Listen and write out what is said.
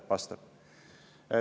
Vastab.